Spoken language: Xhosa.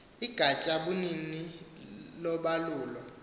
igatya bunini lobalulo